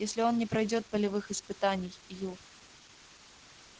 если он не пройдёт полевых испытаний ю